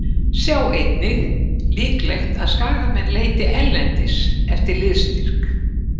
Sjá einnig: Líklegt að Skagamenn leiti erlendis eftir liðsstyrk